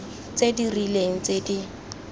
tse di rileng tse di